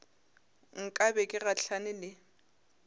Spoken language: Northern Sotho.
nka be ke gahlane le